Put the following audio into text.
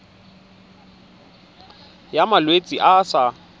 ya malwetse a a sa